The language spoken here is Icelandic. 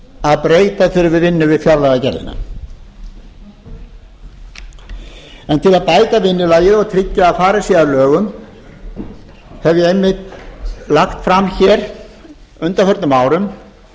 að breyta þurfi vinnu við fjárlagagerðina til að bæta vinnulagið og tryggja að farið sé að lögum hef ég einmitt lagt fram hér á undanförnum árum